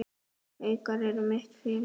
Haukar eru mitt félag.